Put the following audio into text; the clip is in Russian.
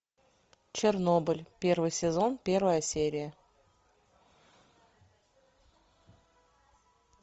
чернобыль первый сезон первая серия